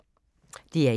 DR1